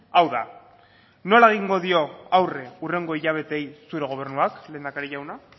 hau da nola egingo dio aurre hurrengo hilabeteei zure gobernuak lehendakari jauna